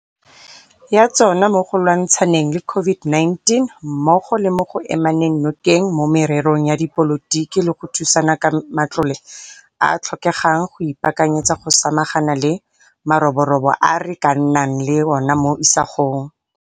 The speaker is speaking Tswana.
ya tsona mo go lwantsha neng le COVID-19 mmogo le mo go emaneng nokeng mo mererong ya dipolotiki le go thusana ka matlole a a tlhokegang go ipaakanyetsa go samagana le maroborobo a re ka nnang le ona mo isagong.